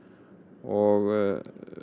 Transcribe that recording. og